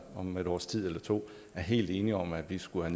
om et års tid eller to er helt enige om at den skulle